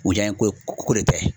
U janyeko ko de tɛ.